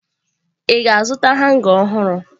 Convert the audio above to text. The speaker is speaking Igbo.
Ị ga-azụta hanga ọhụrụ?